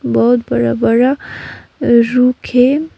बहोत बड़ा बड़ा रूख है।